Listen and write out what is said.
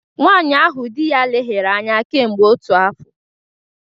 Nwanyị ahụ di ya leghaara anya kemgbe otu afọ